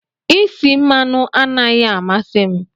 Isi mmanụ anaghị amasị m.